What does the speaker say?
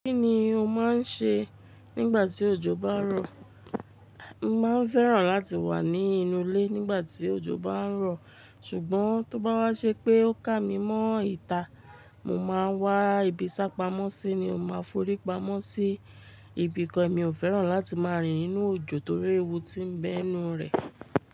Kí ni o máa ń ṣe nígbà tí òjò bá ń rọ̀? Mo máa ń fẹ́ràn láti wà ní inú ilé nígbà tí òjò bá ń rọ̀. Ṣùgbọ́n tó bá wá ṣe pé ó ká mi mọ́ ìta, mo máa wá ibi ṣápamọ́ sí ni ó máa forí pamọ́ sí. Ibìkan mi ò fẹ́ràn láti máa rìn ninú òjò torí ewu tí ń bẹ́ n nu rẹ̀.